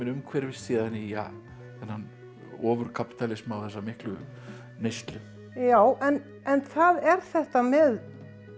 umhverfist síðan í þennan ofur kapítalisma og þessa miklu neyslu já en það er þetta með